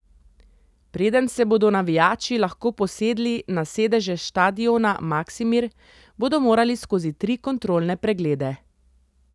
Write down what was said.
Preden se bodo navijači lahko posedli na sedeže štadiona Maksimir, bodo morali skozi tri kontrolne preglede.